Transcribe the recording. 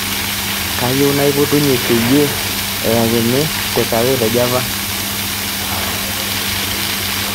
kayieu naipotunye peyie ayaakini takeaway te java